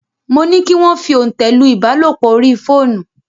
Mo ní kí wọ́n fi òntẹ̀ lu ìbálòpọ̀ orí fóònù.